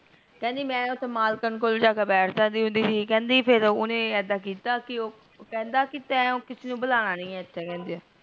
ਕਿਹੰਦੀ ਮੈਂ ਮਲਕਣ ਕੋਲ ਜਾਕੇ ਬੈਠ ਜਾਂਦੀ ਥੀ ਕਿਹੰਦੇ ਫੇਰ ਓਹਨੇ ਇਦਾ ਕੀਤਾ ਕੀ ਓਹ ਕਹੰਦਾ ਕੀ ਤੇ ਕਿਸੇ ਨੂ ਬੁਲਾਨਾ ਨੀ ਇਥੇ ਕਿਸੇ